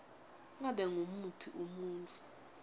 ngabe ngumuphi umuntfu